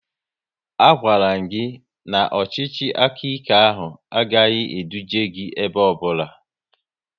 A gwaram gị na ọchịchị aka ike gị ahụ agaghị eduje gị ebe ọbụla